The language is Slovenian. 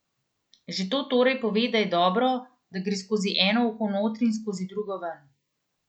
Že to torej pove, da je dobro, da gre skozi eno uho notri in skozi drugo ven.